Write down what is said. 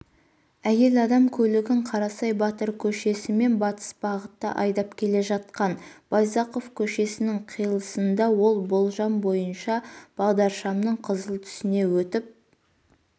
әйел адам көлігін қарасай батыр көшесімен батыс бағытта айдап келе жатқан байзақов көшесінің қиылысында ол болжам бойынша бағдаршамның қызыл түсіне өтіп